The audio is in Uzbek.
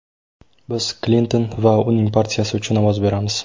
Biz Klinton va uning partiyasi uchun ovoz beramiz.